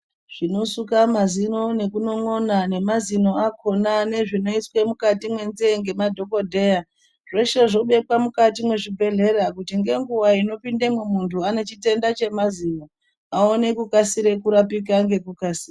Zvinosuka mazino nekunon'ona nemazino akona, nezvinoiswa mukati mwenzeve nemadhokodheya, zveshe zvobekwa mukati mezvibhedhlera ,kuti ngenguwa inopindamwo muntu anechitenda chemazino, awone kukasira kurapika ngekukasira.